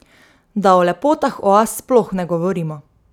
Da o lepotah oaz sploh ne govorimo.